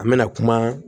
An mɛna kuma